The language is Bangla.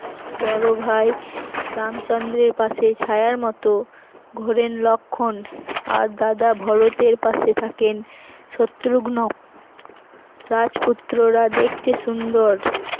বড় ভাই রামচন্দ্রের পাশে ছায়ার মত ঘোড়েন লক্ষণ আর দাদা ভরতের পাশে থাকেন শত্রুগ্ন, রাজপুত্ররা দেখতে সুন্দর